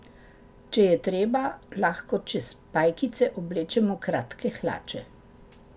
Če je treba, lahko čez pajkice oblečemo kratke hlače.